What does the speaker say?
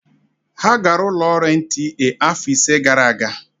Ha gara ụlọ ọrụ NTA afọ ise gara aga.